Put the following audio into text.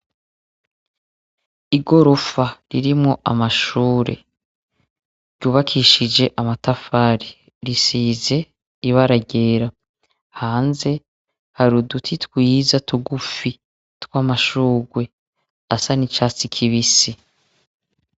Igorofa ririmwo amashure, ryubakishije amatafari, risize ibara ryera. Hanze har'uduti twiza tugufi twamashurwe asa nicatsi kibisi.